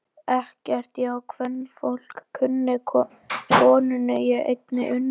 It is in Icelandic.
Ekkert ég á kvenfólk kunni, konunni ég einni unni.